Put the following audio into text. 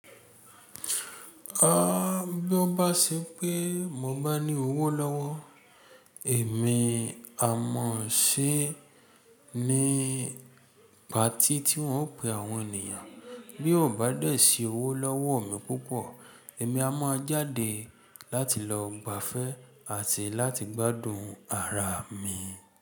A bí ó bá ṣe pé mo bá ní owó lọ́wọ́, èmi a mọ̀ ọ́n ṣé nígbà tí tí wọ́n ó pe àwọn ènìyàn. Bí ò bá dẹ̀ sí owó lọ́wọ́ mi púpọ̀, èmi a máa jáde láti lọ gbàfẹ àti láti gbádùn ara mi.